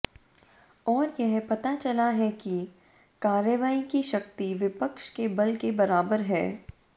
और यह पता चला है कि कार्रवाई की शक्ति विपक्ष के बल के बराबर है